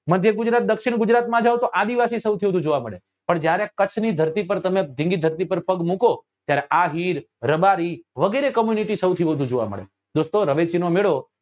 મધ્ય ગુજરાત દક્ષીણ ગુજરાત માં જાઓ તો આદિવાસી સૌથી વધુ જોવા મળે પણ જ્યારે કચ્છ ની ધરતી પર ગીર ની ધરતી પર પગ મુકો ત્યારે આહીર રબારી વગેરે community સૌથી વધુ જોવા મળે દોસ્તો રવેચી નો મેળો